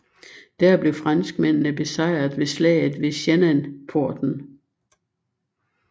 Der blev franskmændene besejret ved slaget ved Zhennanporten